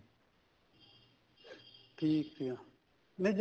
ਠੀਕ ਆ ਨਹੀਂ